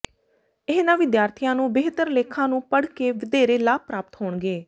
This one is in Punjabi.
ਇਹਨਾਂ ਵਿਦਿਆਰਥੀਆਂ ਨੂੰ ਬਿਹਤਰ ਲੇਖਾਂ ਨੂੰ ਪੜ੍ਹ ਕੇ ਵਧੇਰੇ ਲਾਭ ਪ੍ਰਾਪਤ ਹੋਣਗੇ